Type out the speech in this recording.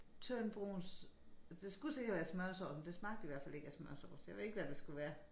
Tynd brun det skulle sikkert være smørsovs men det smagte i hvert fald ikke af smørsovs jeg ved ikke hvad det skulle være